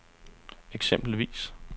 eksempelvis